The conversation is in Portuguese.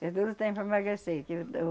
É duro o tempo para emagrecer, que eu